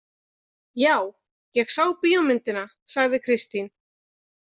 Já, ég sá bíómyndina, sagði Kristín.